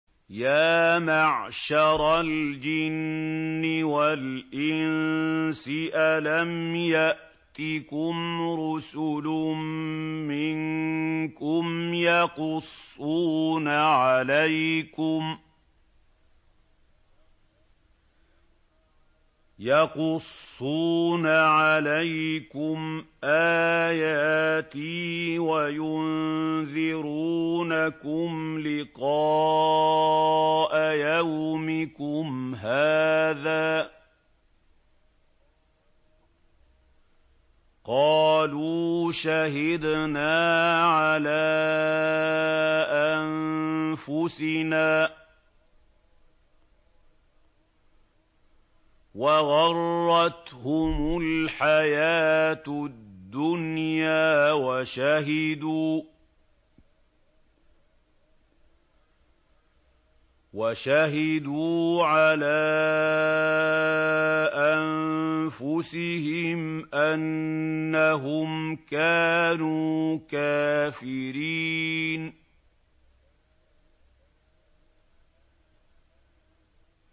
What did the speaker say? يَا مَعْشَرَ الْجِنِّ وَالْإِنسِ أَلَمْ يَأْتِكُمْ رُسُلٌ مِّنكُمْ يَقُصُّونَ عَلَيْكُمْ آيَاتِي وَيُنذِرُونَكُمْ لِقَاءَ يَوْمِكُمْ هَٰذَا ۚ قَالُوا شَهِدْنَا عَلَىٰ أَنفُسِنَا ۖ وَغَرَّتْهُمُ الْحَيَاةُ الدُّنْيَا وَشَهِدُوا عَلَىٰ أَنفُسِهِمْ أَنَّهُمْ كَانُوا كَافِرِينَ